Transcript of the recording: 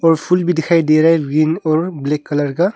Full भी दिखाई दे रहा है ग्रीन और ब्लैक कलर का।